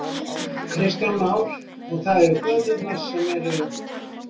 Kristján Már: Og það eru göturnar sem eru?